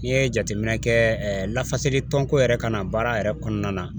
N'i ye jateminɛ kɛ, lafasali tɔnko yɛrɛ ka na baara yɛrɛ kɔnɔna na